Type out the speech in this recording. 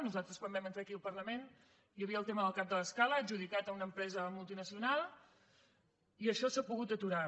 nosaltres quan vam entrar aquí al parlament hi havia el tema del cap de l’escala adjudicat a una empresa multinacional i això s’ha pogut aturar